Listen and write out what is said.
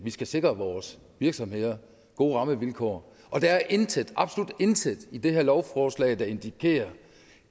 skal sikre vores virksomheder gode rammevilkår og der er intet absolut intet i det her lovforslag der indikerer